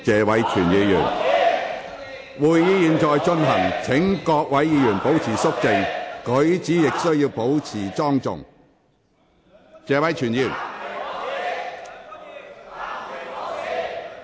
會議現正進行中，請各位議員肅靜，舉止亦須保持莊重。